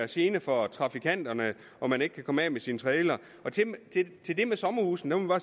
gene for trafikanterne og man ikke kan komme af med sin trailer til det med sommerhusene må